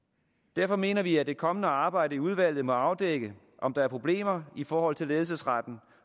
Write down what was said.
derfor mener vi at det kommende arbejde i udvalget må afdække om der er problemer i forhold til ledelsesretten